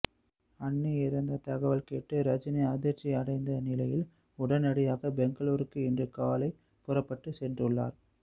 அண்ணி இறந்த தகவல் கேட்டு ரஜினி அதிர்ச்சி அடைந்த நிலையில் உடனடியாக பெங்களுருக்கு இன்று காலை புறப்பட்டு சென்றுள்ளார்